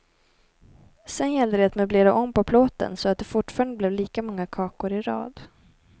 Sen gällde det att möblera om på plåten, så att det fortfarande blev lika många kakor i rad.